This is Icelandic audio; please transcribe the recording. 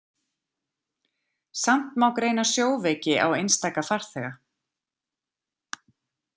Samt má greina sjóveiki á einstaka farþega.